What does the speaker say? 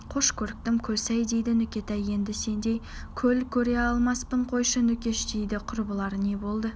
қош көріктім көлсай дейді нүкетай енді сендей көл көре алмаспын қойшы нүкеш дейді құрбылары не болды